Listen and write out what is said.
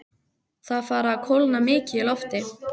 Það er farið að kólna mikið í lofti.